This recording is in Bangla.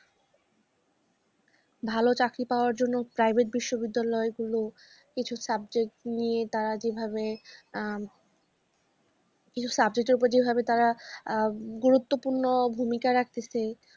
ভালো চাকরি পাওয়ার জন্য private বিশ্ববিদ্যালয় গুলো কিছু subject নিয়ে তারা যেভাবে আহ কিছু subject এর ওপরে যেভাবে তারা আ গুরুত্বপূর্ণ ভূমিকা রাখতেছে,